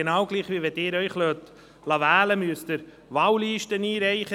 Wenn Sie sich wählen lassen, müssen Sie ebenfalls Wahllisten einreichen.